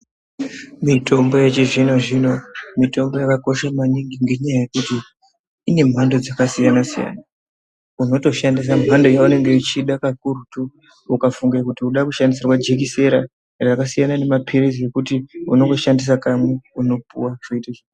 Mitombo yechizvino-zvino mitombo yakakoshe maningi ngenyaya yekuti ine mhando dzakasiyana-siyana. Unotoshandisa mhando yaunenge uchida kakurutu. Ukafunge kuti uri kuda kushandisirwa jekesera, rakasiyana nemaphirizi okuti unongoshandisa kamwe, unopuwa zvoite zvakanaka.